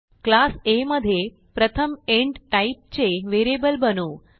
class आ मधे प्रथम इंट टाईपचे व्हेरिएबल बनवू